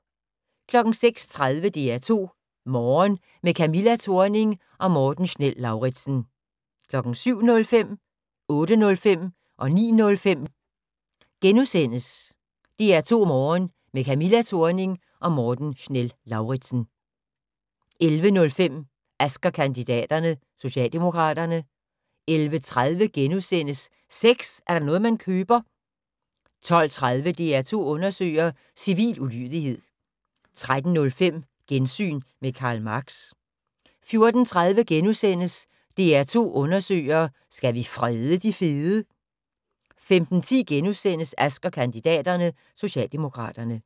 06:30: DR2 Morgen – med Camilla Thorning og Morten Schnell-Lauritzen 07:05: DR2 Morgen – med Camilla Thorning og Morten Schnell-Lauritzen * 08:05: DR2 Morgen – med Camilla Thorning og Morten Schnell-Lauritzen * 09:05: DR2 Morgen – med Camilla Thorning og Morten Schnell-Lauritzen * 11:05: Ask & kandidaterne: Socialdemokraterne 11:30: Sex er da noget man køber * 12:30: DR2 undersøger: Civil ulydighed 13:05: Gensyn med Karl Marx 14:30: DR2 Undersøger: Skal vi frede de fede? * 15:10: Ask & kandidaterne: Socialdemokraterne *